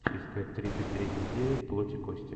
искать тридцать третья серия плоть и кости